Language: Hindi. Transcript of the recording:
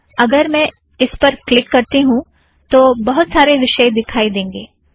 अगर मैं इस पर क्लिक करती हूँ तो बहुत सारे विषय दिखाई देंगें